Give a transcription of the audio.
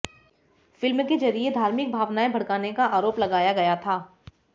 film के जरिये धार्मिक भावनाएं भड़काने का आरोप लगाया गया था